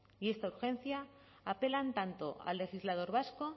y esta urgencia apelan tanto al legislador vasco